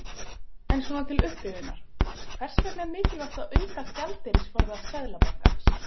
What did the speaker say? En svona til upprifjunar, hvers vegna er mikilvægt að auka gjaldeyrisforða Seðlabankans?